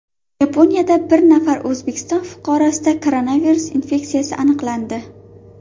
Yaponiyada bir nafar O‘zbekiston fuqarosida koronavirus infeksiyasi aniqlandi.